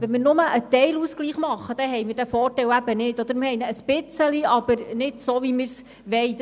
Wenn wir nur einen Teilausgleich machen, haben wir diesen Vorteil nicht oder nur ein wenig und nicht so, wie wir es wollen.